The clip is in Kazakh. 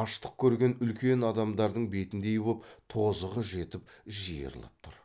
аштық көрген үлкен адамдардың бетіндей боп тозығы жетіп жиырылып тұр